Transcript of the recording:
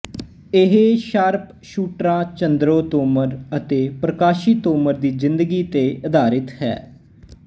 ਇਹ ਸ਼ਾਰਪਸ਼ੂਟਰਾਂ ਚੰਦਰੋ ਤੋਮਰ ਅਤੇ ਪ੍ਰਕਾਸ਼ੀ ਤੋਮਰ ਦੀ ਜ਼ਿੰਦਗੀ ਤੇ ਅਧਾਰਿਤ ਹੈ